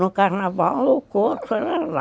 No carnaval o curso era lá.